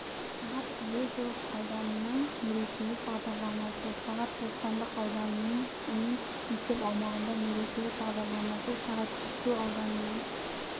сағат әуезов ауданының мерекелік бағдарламасы сағат бостандық ауданының мен мектеп аумағында мерекелік бағдарламасы сағат жетісу ауданының